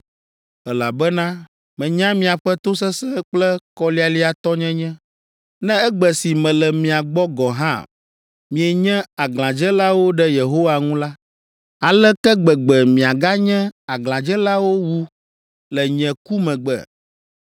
elabena menya miaƒe tosesẽ kple kɔlialiatɔnyenye. Ne egbe si mele mia gbɔ gɔ̃ hã mienye aglãdzelawo ɖe Yehowa ŋu la, aleke gbegbe miaganye aglãdzelawo wu le nye ku megbe?